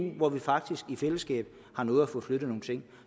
hvor vi faktisk i fællesskab har nået at få flyttet nogle ting